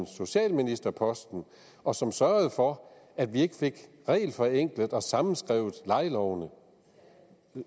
socialministerposten og som sørgede for at vi ikke fik regelforenklet og sammenskrevet lejelovene